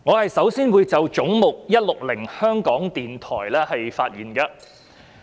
我首先會就"總目 160─ 香港電台"發言。